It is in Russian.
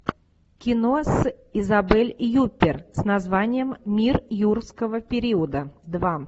кино с изабель юппер с названием мир юрского периода два